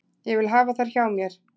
Ég vil hafa þær hjá mér.